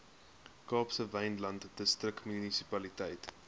kaapse wynland distriksmunisipaliteit